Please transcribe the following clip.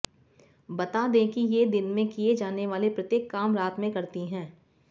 बता दें कि ये दिन में किए जाने वाले प्रत्येक काम रात मे करती है